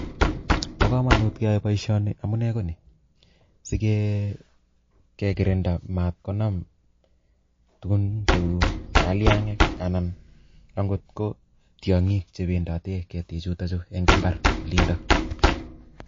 Bo kamanut keyai boishoni amune Koni sikekirinda matkonam tukun cheu kalyang'ik anan tukn cheu tyong'ik chependati eng imbar